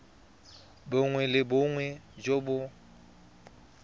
bongwe le bongwe jo bo